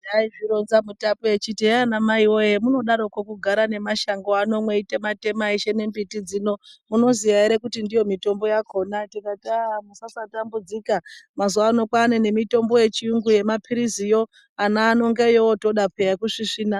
Aizvironza mutape echiti hehe anamai woye hemunodaroko kugara nemashango ano mweitema-tema eshe nembiti dzino, munoziya here kuti ndiyo mitombo yakona. Tikati hah musasatambudzika mazuvano kwaane nemitombo yechiyungu yemaphiriziyo, ana ano ngeyaanotoda peya yekusvisvina.